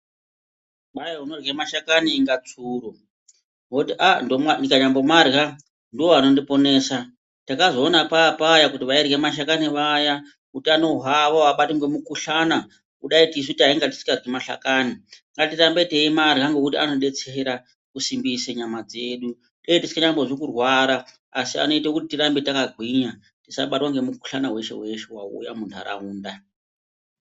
Kwai unorya mahlakani inga tsuro ,woti ndikanyambomarya ndoanondiponesa .Takazoona papaya kuti vairye mashakani vaya utano hwavo avabatwi nemukuhlana kudai tisu tatingaryi mahlakani .Ngatirambe teimarya ngekuti anodetsera kusimbise nyama dzedu ,tetingambozi kurwara asi kuti tirambe takagwina ,tisabatwa nemukuhlani weshe weshe wauya mundaraunda .